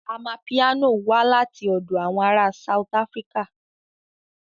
Amapiano wá láti ọ̀dọ̀ àwọn ará South Africa